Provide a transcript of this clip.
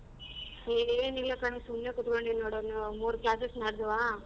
ಏನ್ ಇಲ್ಲ ಕಣೇ ಸುಮ್ನೆ ಕೂತ್ಕೊಂಡಿನ್ ನೋಡು ಮೂರ್ class ನಡೆದ್ವಾ.